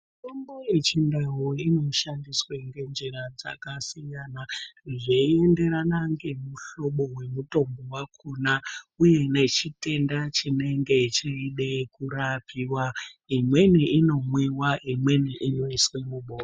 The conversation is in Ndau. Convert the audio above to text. Mitombo yechindau inoshandiswa ngenjira dzakasiyana zvinoenderana nemihlobo yemitombo yakona uye nechitenda chinenge cheida kurapiwa imweni inomwiwa imweni inoiswa mu.